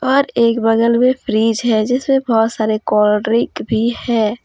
यहा पर एक बगल मे एक फ्रिज है जिसमे बहुत सारे कोल्ड ड्रिंक भी है।